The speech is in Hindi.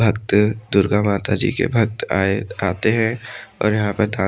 भक्त दुर्गा माता जी के भक्त आए आते हैं और यहां पर दान--